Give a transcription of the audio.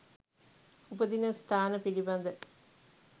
උපදින ස්ථාන පිළිබඳ